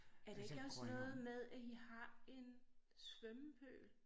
Er det ikke også noget med at i har en svømmepøl?